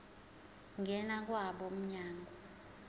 ngena kwabo mnyango